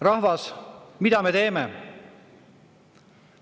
Rahvas, mida me teeme?